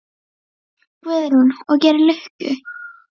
Guðrún: Og gerir lukku?